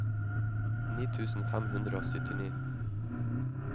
ni tusen fem hundre og syttini